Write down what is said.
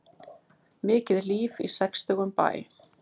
Mikið líf í sextugum bæ